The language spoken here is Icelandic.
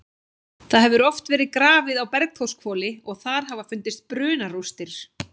Það hefur oft verið grafið á Bergþórshvoli og þar hafa fundist brunarústir.